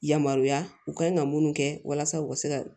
Yamaruya u kan ka munnu kɛ walasa u ka se ka